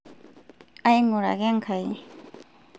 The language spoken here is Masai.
aing'uraka Enkai